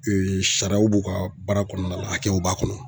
sariyaw b'u ka baara kɔɔna la hakɛw b'a kɔnɔ